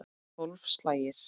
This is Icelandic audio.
Tólf slagir.